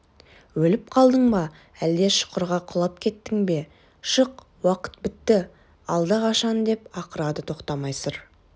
өліп қалдың ба әлде шұқырға құлап кеттің бе шық уақыт бітті алдақашан деп ақырады тоқтамай сыр